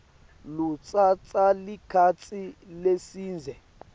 lutsatsa sikhatsi lesidze